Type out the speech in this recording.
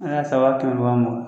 An y'a san waa kɛmɛ ni waa mugan